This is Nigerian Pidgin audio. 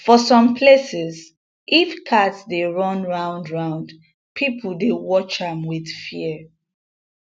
for some places if cat dey run roundround people dey watch am with fear